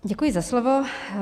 Děkuji za slovo.